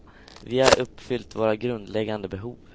Vi har uppfyllt våra grundläggande behov.